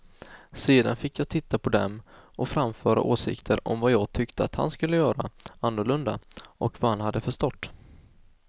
Sedan fick jag titta på dem och framföra åsikter om vad jag tyckte att han skulle göra annorlunda och vad han hade förstått.